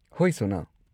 ꯍꯣꯏ, ꯁꯣꯅꯜ꯫